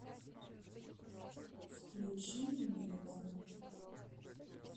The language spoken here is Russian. включи минимал